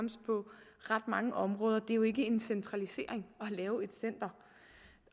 har mange områder det er jo ikke en centralisering at lave et center